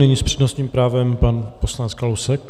Nyní s přednostním právem pan poslanec Kalousek.